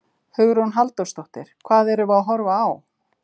Hugrún Halldórsdóttir: Hvað erum við að horfa á?